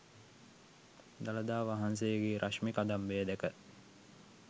දළදා වහන්සේගේ රශ්මි කදම්බය දැක